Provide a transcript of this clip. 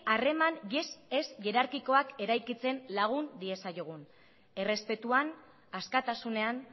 harreman ez hierarkikoak eraikitzen lagun diezaiogun errespetuan askatasunean